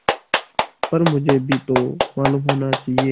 पर मुझे भी तो मालूम होना चाहिए